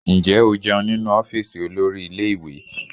Ǹjẹ́ o jẹun nínú ọ́fíìsì olórí ilé ìwé?